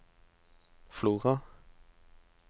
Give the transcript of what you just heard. Flora